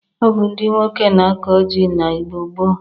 Ọ bụ ndị nwoke na-akọ ji n'Igbo gboo